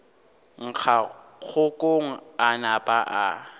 ngaka kgokong a napa a